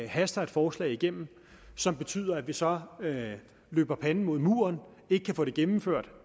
haster et forslag igennem som betyder at vi så løber panden mod en mur og ikke kan få det gennemført